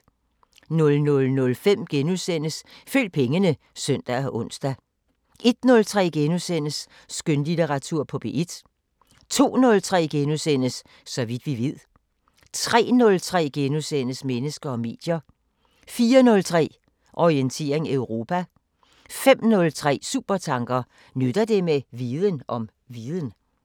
00:05: Følg pengene *(søn og ons) 01:03: Skønlitteratur på P1 * 02:03: Så vidt vi ved * 03:03: Mennesker og medier * 04:03: Orientering Europa 05:03: Supertanker: Nytter det med viden om viden?